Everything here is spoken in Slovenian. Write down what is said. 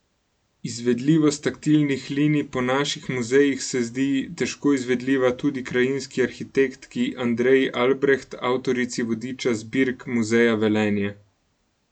Izvedljivost taktilnih linij po naših muzejih se zdi težko izvedljiva tudi krajinski arhitektki Andreji Albreht, avtorici vodiča zbirk Muzeja Velenje.